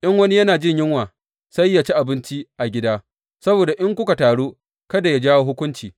In wani yana jin yunwa, sai yă ci abinci a gida, saboda in kuka taru kada yă jawo hukunci.